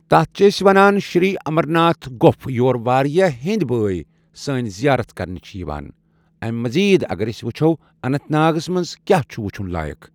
تتھ چھ أسۍ ونان شری امرناتھ گۄپھ یور واریاہ ہِنٛدۍ بٲٮے سٲنۍ زیارت کرنہِ چِھ یِوان۔ امہِ مٔزیٖد اَگر أسۍ وٕچھو اننت ناگس منٛز کیاہ چھُ وٕچُھن لایق۔